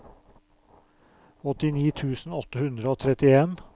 åttini tusen åtte hundre og trettien